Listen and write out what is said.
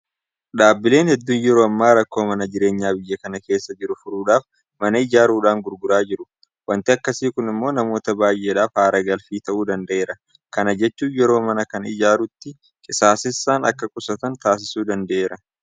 Dhaabbileen hedduun yeroo ammaa rakkoo mana jireenyaa biyya kana keessa jiru furuudhaaf mana ijaaruudhaan gurguraa jiru. Waanti akkasii kun immoo namoota baay'eedhaaf haara galfii ta'uu danda'eera. Kana jechuun yeroo mana kana ijaaruutti qisaasessan akka qusatan taasisuu danda'eera.